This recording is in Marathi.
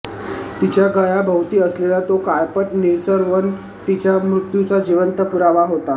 तिच्या गळ्याभोवती असलेला तो काळपट निळसर वण तिच्या मृत्यूचा जिवंत पुरावा होता